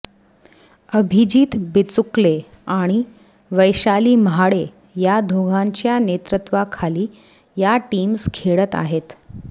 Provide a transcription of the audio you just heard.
अभिजीत बिचुकले आणि वैशाली म्हाडे या दोघांच्या नेतृत्वाखाली या टीम्स खेळत आहेत